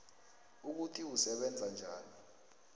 ukuthi usebenza njani